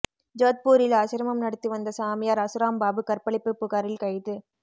ஜோத்பூரில் ஆசிரமம் நடத்தி வந்த சாமியார் அசராம் பாபு கற்பழிப்பு புகாரில் கைது